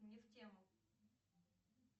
не в тему